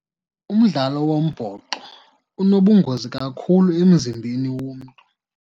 Umdlalo wombhoxo unobungozi kakhulu emzimbeni womntu.